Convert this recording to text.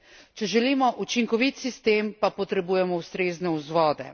Če želimo učinkovit sistem pa potrebujemo ustrezne vzvode.